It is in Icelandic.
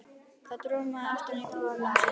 Það dormaði aftan við kúna um stund.